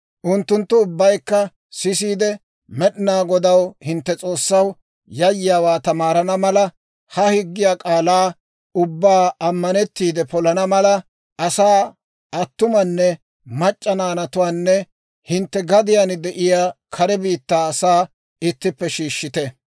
Unttunttu ubbaykka sisiide, Med'inaa Godaw, hintte S'oossaw, yayyiyaawaa tamaarana mala, ha higgiyaa k'aalaa ubbaa ammanettiide polana mala, asaa, attumanne mac'c'a, naanatuwaanne hintte gadiyaan de'iyaa kare biittaa asaa ittippe shiishshite.